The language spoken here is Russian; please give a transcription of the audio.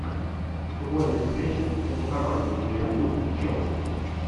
футбольная встреча между командами ливерпуль челси